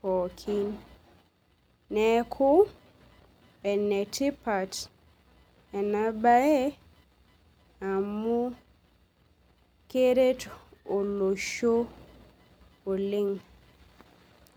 pooki neaku enetipat enabae amu keret olosho Oleng.